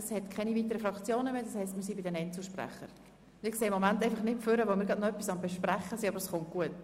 Es gibt keine weiteren Fraktionssprechenden mehr, das heisst, wir sind bei den Einzelsprechern angelangt.